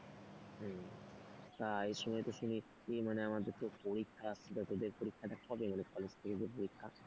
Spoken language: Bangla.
এই সময় তো শুনি মানে আমাদের তো পরীক্ষা বা তোদের পরীক্ষাটা কবে মানে কলেজ থেকে তোর পরীক্ষা,